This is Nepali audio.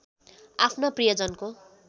आफ्ना प्रियजनको